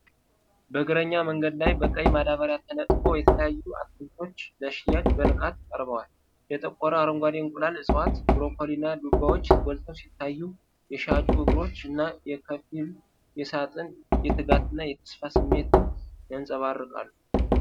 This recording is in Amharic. በእግረኛ መንገድ ላይ በቀይ ማዳበሪያ ተነጥፎ የተለያዩ አትክልቶች ለሽያጭ በንቃት ቀርበዋል። የጠቆረ አረንጓዴ እንቁላል እፅዋት፣ ብሮኮሊ እና ዱባዎች ጎልተው ሲታዩ፤ የሻጩ እግሮች እና የከፊሉ ሳጥን የትጋት እና የተስፋ ስሜትን ያንጸባርቃሉ።